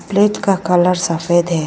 प्लेत का कलर सफेद है।